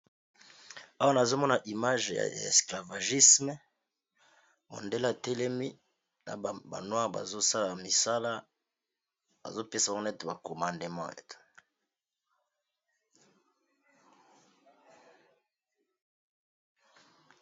Awa nazomona image ya esclavagiste mundele atelemi Azo pesa ba mosala Azo sala ba comadement